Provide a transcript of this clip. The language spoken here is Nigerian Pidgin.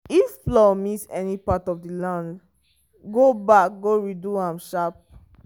if plow miss any part of the land go back go redo am sharp.